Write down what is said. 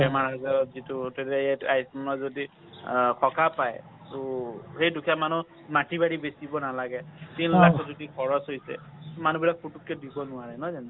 বেমাৰ আজাৰত যিটো যদি সকাহ পায় , এই দুখীয়া মানুহ মাটি বাৰী বেচিব নালাগে । খৰচ হৈছে মানুহ বিলাক পতককে দিব নোৱাৰে । নহয় জানো।